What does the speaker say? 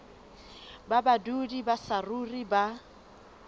ba badudi ba saruri ba